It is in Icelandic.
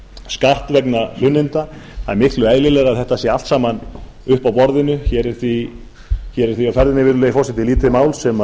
skatt vegna hlunninda það er miklu eðlilegra að þetta sé allt saman uppi á borðinu hér er því á ferðinni virðulegi forseti lítið mál sem